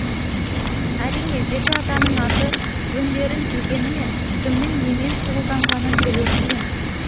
әрине жеті атаның аты жөндерін білгенімен кімнің немен шұғылданғанын білу қиын